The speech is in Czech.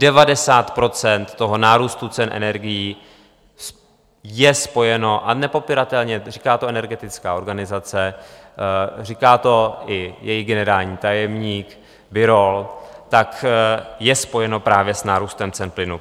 Devadesát procent toho nárůstu cen energií je spojeno, a nepopiratelně, říká to energetická organizace, říká to i její generální tajemník Birol, tak je spojeno právě s nárůstem cen plynu.